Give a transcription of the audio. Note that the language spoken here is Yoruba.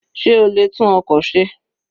Sé o lè tún ọkọ̀ ṣe?